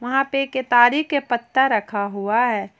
वहां पे एक केतारी के पत्ता रखा हुआ है।